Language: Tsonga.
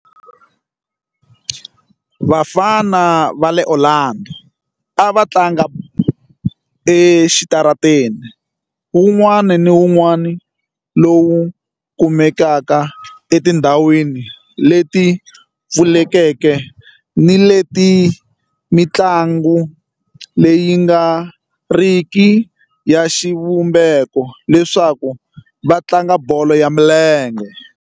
Vafana va le Orlando a va tlanga exitarateni wun'wana ni wun'wana lowu kumekaka etindhawini leti pfulekeke ni leti mintlawa leyi nga riki ya xivumbeko leswaku va tlanga bolo ya milenge.